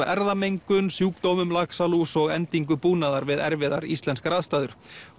erfðamengun sjúkdómum laxalús og endingu búnaðar við erfiðar íslenskar aðstæður